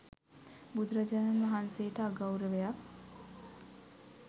බුදුරජාණන් වහන්සේට අගෞරවයක්.